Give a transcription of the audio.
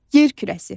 Yer kürəsi.